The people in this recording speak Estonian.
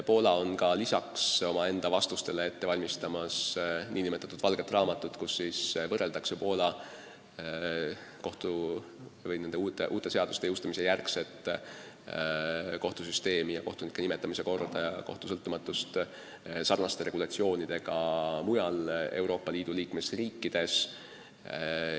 Poola koostab praegu lisaks oma vastustele nn valget raamatut, kus võrreldakse Poola uute seaduste jõustumise järgset kohtusüsteemi, kohtunike nimetamise korda ja kohtu sõltumatuse tagamist sellekohaste regulatsioonidega mujal Euroopa Liidu liikmesriikides.